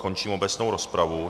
Končím obecnou rozpravu.